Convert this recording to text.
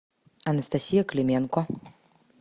анастасия клименко